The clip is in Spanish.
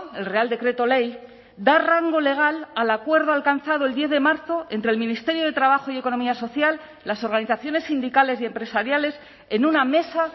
el real decreto ley da rango legal al acuerdo alcanzado el diez de marzo entre el ministerio de trabajo y economía social las organizaciones sindicales y empresariales en una mesa